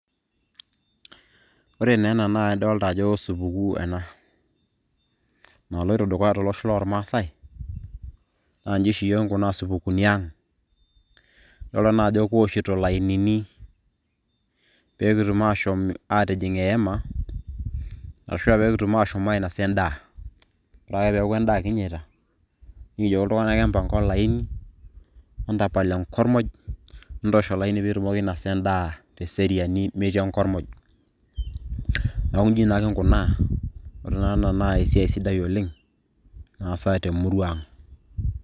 ore naa ena naa idoolta ajo supukuu ena. naloito dukuya tolosho loormaasae. naa iji oshi iyiook kinkunaa isupukuuni ang'.idoolta naa ajo keoshito ilainini, pee kitum aashom aatijing' eyema, ashu aa pekitum aashom ainosa edaa. ore ake peeku edaa kinyita, nikijoki iltung'anak empanka olaini, entapal enkormoj, entoosh olaini pee itumokiki ainosa edaa, teseriani metii enkormoj, neeku naa iji kinkunaa, ore naa ena naa esiai sidai oleng. naasa te murua ang'.